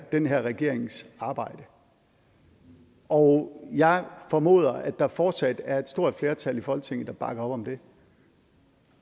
den her regerings arbejde og jeg formoder at der fortsat er et stort flertal i folketinget der bakker op om det